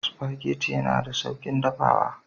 Spaghetti yana da sauƙin dafawa.